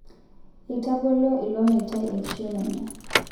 Eitagolo ilo meitai eknishon enye